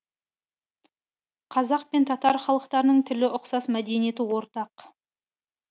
қазақ пен татар халықтарының тілі ұқсас мәдениеті ортақ